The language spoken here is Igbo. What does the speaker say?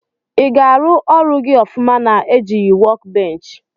Iga arụ ọrụ gi ọfụma na ejighi wọk bench?